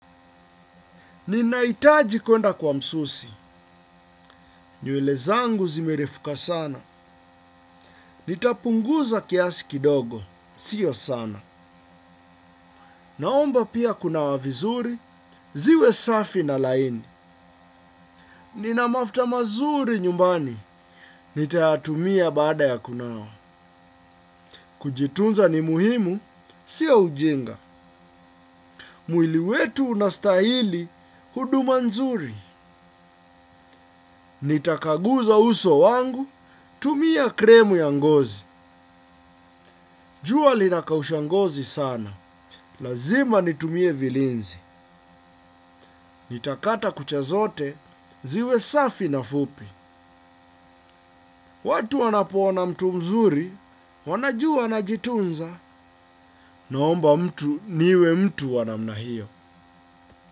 Ninaitaji kuenda kwa msusi. Nyuele zangu zimerefuka sana. Nitapunguza kiasi kidogo. Sio sana. Naomba pia kuna wavizuri. Ziwe safi na laini. Nina mafuta mazuri nyumbani. Nitaatumia bada ya kunao. Kujitunza ni muhimu. Sio ujinga. Mwili wetu unastahili huduma nzuri. Ni takaguza uso wangu, tumia kremu ya ngozi. Jua linakausha ngozi sana. Lazima nitumie vilinzi. Nitakata kucha zote, ziwe safi na fupi. Watu wanapoona na mtu mzuri, wanajua anajitunza, naomba mtu niwe mtu wa namna hio.